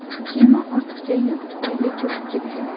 Kema ortiqcha yuk tufayli cho‘kib ketdi.